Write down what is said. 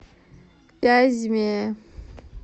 вязьме